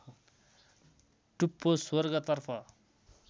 टुप्पो स्वर्गतर्फ